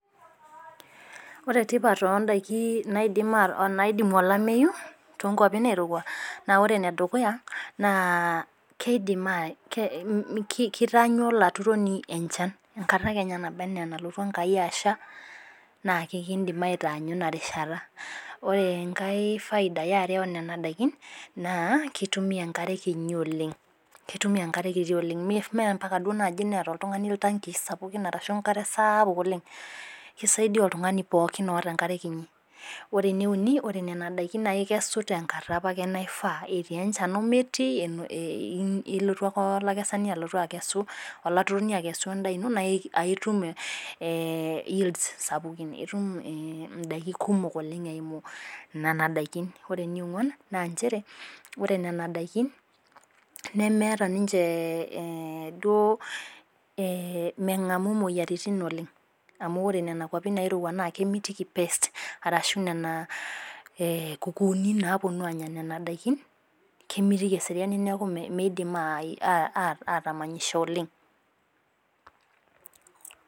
Ore tipat oo ndaiki naidimu olameyu too nkwapi nairouwa naa , ore ene dukuya naa keidim keitaanyu olaturoni enchan enkata kenya naba anaa nalotu Enkai asha, naake kindim aitaanyu ina rishata. Ore enkai faida e are o nena daikin , naa keitumiya enkare kinyi oleng', keitumiya enkare kiti oleng' mee ompaka neata duo oltung'ani iltankii sapukin arashu enkare saapuk oleng', keisaidia oltung'ani pokin oata enkare kinyi. Ore ene uni naa ikesu nena daikin ake tenkata ake naifaa, etii enchan o metii, ilotu ake olaturoni alotu akesu endaa ino naa itum yields sapuki, itum indaiki kumok oleng' eimu nena daikin. Ore ene ong'uan, naa nchere, ore nena daikin nemeata ninche duo meng'amu imoyiaritin oleng' amu ore nena kwapin nairouwa naa kemitiki [c] pest arashu nena kukuuni naapuonu aanya nena daikin , kemitiki eseriani metaa meidim ataamanyisho oleng'.